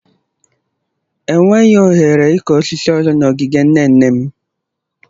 Enweghị ohere ịkụ osisi ọzọ n'ogige nne nne m.